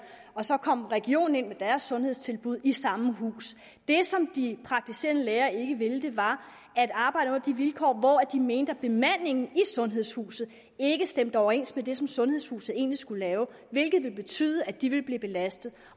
og så kom regionen ind med deres sundhedstilbud i samme hus det som de praktiserende læger ikke ville var at arbejde under de vilkår de mente at bemandingen i sundhedshuset ikke stemte overens med det som sundhedshuset egentlig skulle lave hvilket ville betyde at de ville blive belastet